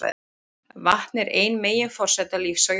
Vatn er ein meginforsenda lífs á jörðinni.